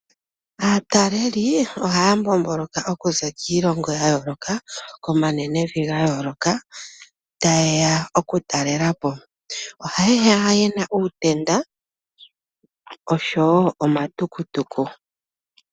Aatalelipo ohaya mbomboloka okuza kiilongo ya yooloka, komanenevi ga yooloka taye ya okutalela po. Ohaye ya ye na uutenda oshowo omatukutuku.